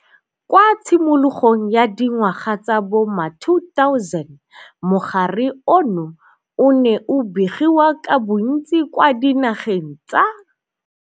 Kwa tshimologong ya di ngwaga tsa bo ma-2000 mogare ono o ne o begiwa ka bontsi kwa dinageng tsa